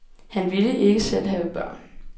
Han ville ikke selv have børn.